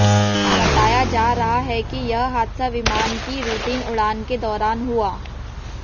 बताया जा रहा है कि यह हादसा विमान की रूटीन उड़ान के दौरान हुआ